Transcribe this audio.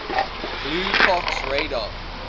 blue fox radar